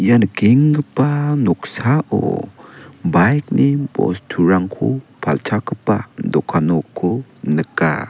ia nikenggipa noksao bike-ni bosturangko palchakgipa dokan nokko nika.